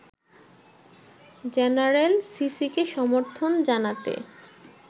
general সিসিকে সমর্থন জানাতে